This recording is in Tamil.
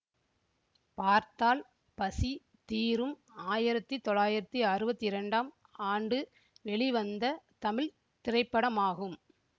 பார்த்தால் பசி தீரும் ஆயிரத்தி தொள்ளாயிரத்தி அறுவத்தி இரண்டாம் ஆண்டு வெளிவந்த தமிழ் திரைப்படமாகும்